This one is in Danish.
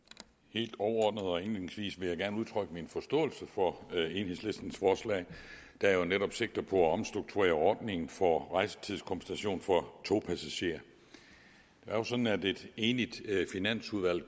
helt overordnet og indledningsvis vil jeg gerne udtrykke min forståelse for enhedslistens forslag der jo netop sigter på at omstrukturere ordningen for rejsetidskompensation for togpassagerer det er jo sådan at et enigt finansudvalg